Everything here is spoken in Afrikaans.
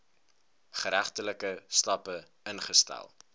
geregtelike stappe ingestel